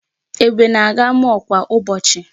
Ebube na-aga mall kwa ụbọchị.